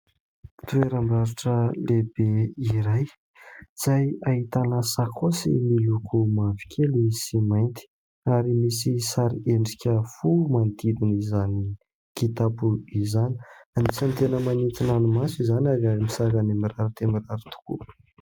Toeram-barotra lehibe iray izay ahitana sakaosy miloko mavokely sy mainty ary misy sary endrika fo manodidina izany kitapo izany. Anisan'ny tena manintona ny maso izany ary amin'ny sarany mirary dia mirary tokoa.